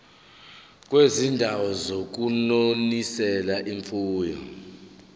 kwizindawo zokunonisela imfuyo